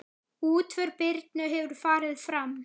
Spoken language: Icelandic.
Útför Birnu hefur farið fram.